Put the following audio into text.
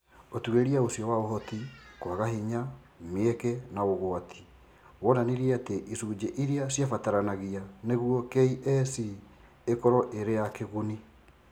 Ũtuĩria ũcio wa Ũhoti, kwaga hinya, mĩeke, na ũgwati, wonanirie atĩ icunjĩ iria ciabataranagia nĩguo KEC ĩkorũo ĩrĩ ya kĩguni.